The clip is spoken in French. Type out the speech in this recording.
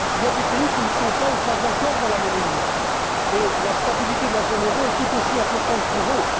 Il y a des pays qui n'ont pas ou pas encore adopté la monnaie unique et la stabilité de la zone euro est tout aussi importante pour eux.